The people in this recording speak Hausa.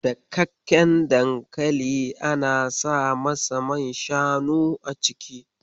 Dakakken dankali ana sa masa man shanu a ciki.